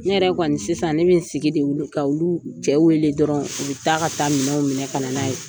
Ne yɛrɛ kɔni sisan ne bɛ sigi de ka olu cɛ wele dɔrɔnw, u bɛ taa ka taa minɛw minɛ ka na n'a ye.